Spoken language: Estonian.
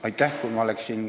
Aitäh!